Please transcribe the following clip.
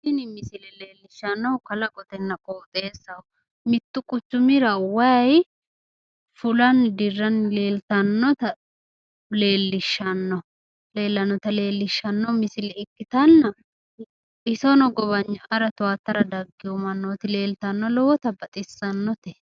Tini misile leelishanohu kalaqotenna qooxeessaho, mitu quchumra way fullani diranni leellitanota leelishano misile ikkitana isino gowayna'ara tuwaatara dagino manooti leelitano lowota baxisanote